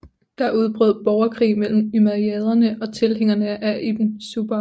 Der udbrød borgerkrig mellem umayyaderne og tilhængerne af Ibn Zubayr